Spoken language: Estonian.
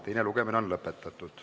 Teine lugemine on lõpetatud.